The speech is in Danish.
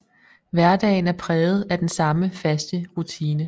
Hverdagen er præget af den samme faste rutine